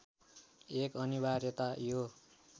एक अनिवार्यता यो